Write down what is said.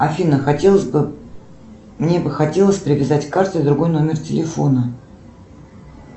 афина хотелось бы мне бы хотелось привязать к карте другой номер телефона